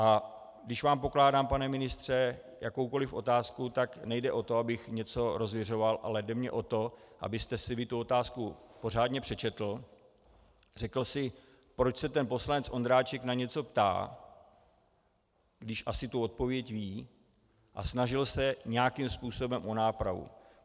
A když vám pokládám, pane ministře, jakoukoli otázku, tak nejde o to, abych něco rozviřoval, ale jde mi o to, abyste si vy tu otázku pořádně přečetl, řekl si, proč se ten poslanec Ondráček na něco ptá, když asi tu odpověď ví, a snažil se nějakým způsobem o nápravu.